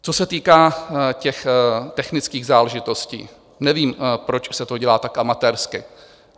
Co se týká těch technických záležitostí, nevím, proč se to dělá tak amatérsky.